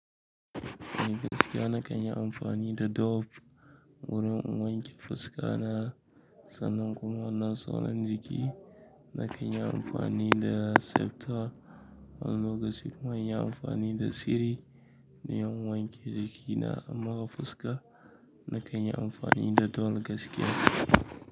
A gaskiya na kan yi amfani da dove wurin in wanke fuska na. Sannan kuma wannan sauran jiki na kan yi amfani da septol. Wani lokaci kuma inyi amfani da ceri don in wanke jiki na amma ga fuska na kan yi amfani da dove gaskiya.